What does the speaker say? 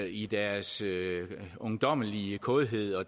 i deres ungdommelige kådhed og